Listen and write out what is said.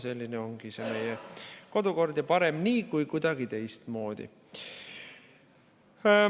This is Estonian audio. Selline ongi meie kodukord ja parem nii kui kuidagi teistmoodi.